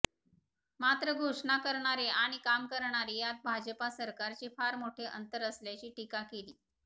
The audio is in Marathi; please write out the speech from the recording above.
मात्र घोषणा करणे आणि काम करणे यात भाजपा सरकारचे फार मोठे अंतर असल्याची टिका केली